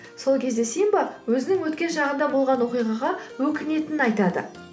сол кезде симба өзінің өткен шағында болған оқиғаға өкінетінін айтады